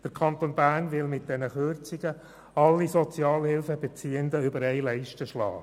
Der Kanton Bern will mit diesen Kürzungen alle Sozialhilfebeziehenden über einen Leisten schlagen.